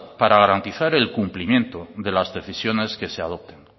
para garantizar el cumplimiento de las decisiones que se adopten